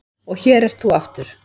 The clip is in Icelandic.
Og hér ert þú aftur.